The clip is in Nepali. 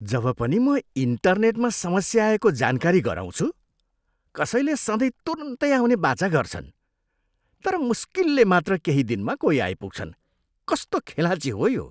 जब पनि म इन्टेरनेटमा समस्या आएको जानकारी गराउँछु, कसैले सधैँ तुरुन्तै आउने वाचा गर्छन्। तर मुस्किलले मात्र केही दिनमा कोही आइपुग्छन्। कस्तो खेलाँची हो यो!